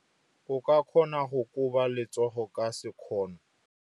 O ka kgona go koba letsogo ka sekgono.